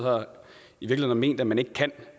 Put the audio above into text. har ment man ikke kan